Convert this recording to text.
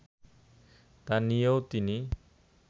তা নিয়েও তিনি